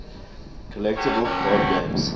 collectible card games